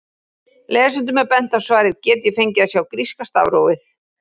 Lesendum er bent á svarið Get ég fengið að sjá gríska stafrófið?